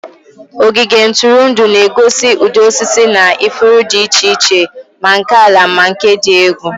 Ogige ntụrụndụ na-egosi ụdị osisi na ifuru dị iche iche, ma nke ala ma nke dị egwu.